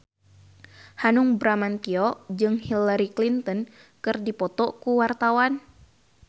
Hanung Bramantyo jeung Hillary Clinton keur dipoto ku wartawan